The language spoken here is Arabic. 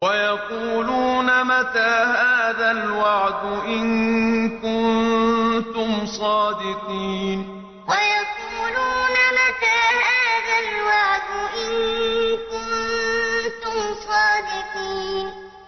وَيَقُولُونَ مَتَىٰ هَٰذَا الْوَعْدُ إِن كُنتُمْ صَادِقِينَ وَيَقُولُونَ مَتَىٰ هَٰذَا الْوَعْدُ إِن كُنتُمْ صَادِقِينَ